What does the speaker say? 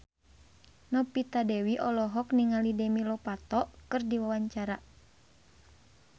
Novita Dewi olohok ningali Demi Lovato keur diwawancara